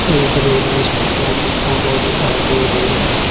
एक railway station की photo दिखाई दे रही है।